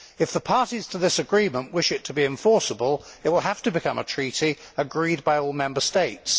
If the parties to this agreement wish it to be enforceable, it will have to become a treaty agreed by all Member States.